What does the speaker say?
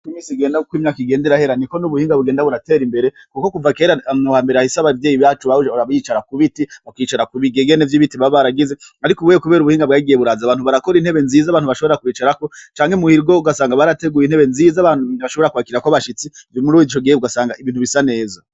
Uko imisi igenda kuko imyaka igenda irahera ni ko n'ubuhinga bugenda buratera imbere kuko kuva kera mhambere ahisi ababyeyi bacu bahuje rabyicara ku biti bakyicara ku bigegene vy'ibitima baragize ariko buye kubera ubuhinga bwagiye buraza abantu barakora intebe nziza abantu bashobora kubicara ko cange muhirgo ugasanga barateguye intebe nziza abantu ntibashobora kuakira ko abashitsi byo muri ubo gisho gihe ugasanga ibintu bisa neza.